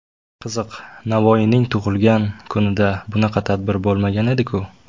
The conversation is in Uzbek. Qiziq, Navoiyning tug‘ilgan kunida bunaqa tadbir bo‘lmagan edi-ku?!